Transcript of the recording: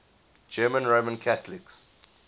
german roman catholics